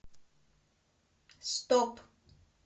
стоп